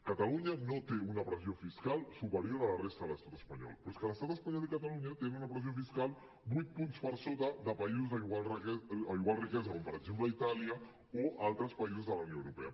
catalunya no té una pressió fiscal superior a la resta de l’estat espanyol però és que l’estat espanyol i catalunya tenen una pressió fiscal vuit punts per sota de països d’igual riquesa com per exemple itàlia o altres països de la unió europea